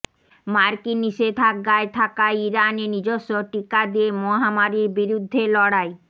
মার্কিন নিষেধাজ্ঞায় থাকা ইরানে নিজস্ব টিকা দিয়ে মহামারির বিরুদ্ধে লড়াই